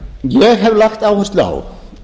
ég hef lagt áherslu á